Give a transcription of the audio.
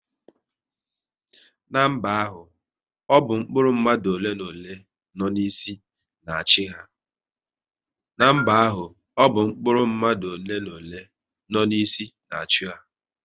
N'mba ahụ, ọ bụ mkpụrụ mmadụ ole na ole, nọ n'isi na achị ha